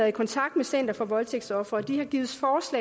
i kontakt med center for voldtægtsofre og de har givet